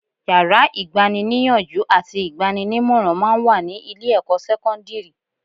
Yàrá ìgbani-níyànjú àti ìgbaninímọ̀ràn máa ń wà ní ilé-ẹ̀kọ́ sẹ́kọ́ndírì